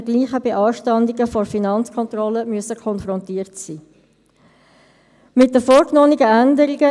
Ich möchte Sie also doch sehr bitten, sich auch entsprechend zu benehmen, damit ich hier nicht in den «Seich» komme.